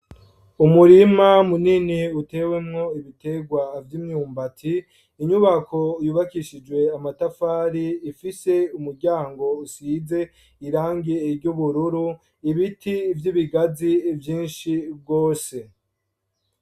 Umurima munini utewemo ibiterwa vy'imyumbati, inyubako yubakishijwe amatafari ifise umuryango usize irangi ry'ubururu, ibiti vy'ibigazi vyinshi gose.